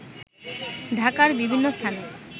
ঢাকার বিভিন্ন স্থানে